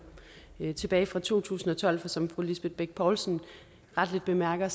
endnu tilbage fra to tusind og tolv for som fru lisbeth bech poulsen retteligt bemærker